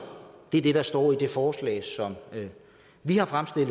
det er det der står i det forslag som vi har fremsat